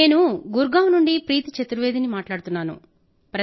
నేను గుర్గావ్ నుండి ప్రీతీ చతుర్వేదీ ని మాట్లాడుతున్నాను